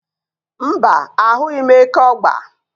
Mbá, ahụghị m eke ọ̀gba.